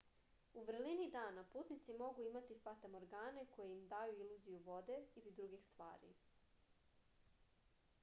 у врелини дана путници могу имати фатаморгане које им дају илузију воде или других ствари